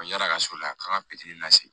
Yala ka so la k'an ka lase